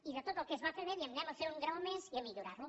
i de tot el que es va fer bé diem anem a fer un graó més i a millorar lo